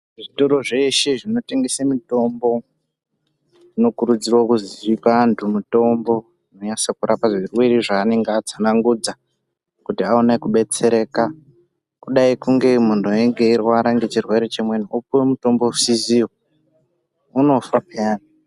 Zvitoro zveshe zvinotengese mitombo zvinokurudzirwa kuti zvipe vantu mutombo unonatse kurapa chirwere cheanenge atsanangura kuti aone kudetsereka kudai kunge eirwara ngechirwere chimweni opiwe mutombo usiziwo, unofa pheyani.